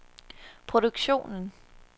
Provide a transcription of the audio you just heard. produktionen